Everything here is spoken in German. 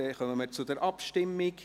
Somit kommen wir zur Abstimmung.